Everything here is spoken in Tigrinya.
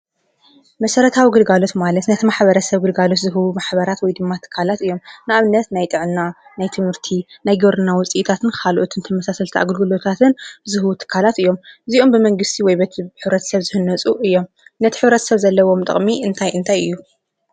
መሰረታዊ ግልጋሎት ማለት ነቲ ማሕበረሰብ ግልጋሎት ዝህቡ ማሕበራት ወይ ድማ ትካላት እዮም፡፡ ንኣብነት ናይ ጥዕና፣ ናይ ትምህርቲ፣ ናይ ግብርና ውፅኢታትን ካልኦትን ተመሳሰልቲ ኣገልግሎታትን ዝህቡ ትካላት እዮም፡፡ እዚኦም ብመንግስቲ ወይ በሕብረተሰብ ዝህነፁ እዮም፡፡ ነቲ ሕብረተሰብ ዘለዎም ጥቕሚ እንታይ እንታይ እዩ?